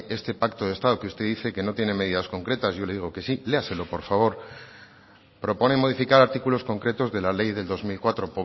este pacto de estado que usted dice que no tiene medidas concretas y yo le digo que sí léaselo por favor propone modificar artículos concretos de la ley del dos mil cuatro